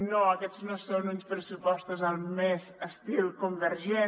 no aquests no són uns pressupostos al més típic estil convergent